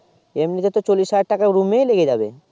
এমনি তে তো চল্লিশ হাজার টাকা room ই লেগে যাবে